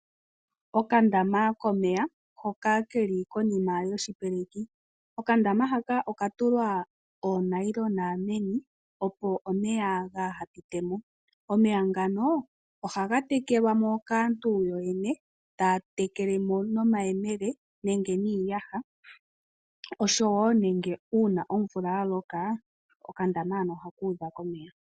Okandama komeya hoka keli konima yoshipeleki. Okandama haka oka tulwa oonayilona meni opo omeya gaaha pite mo. Omeya ngano ohaga tekelwa mo kaantu yo yene taa tekele mo nomayemele nenge niiyaha osho wo nenge uuna omvula ya loka okandama hano ohaku udha komeya.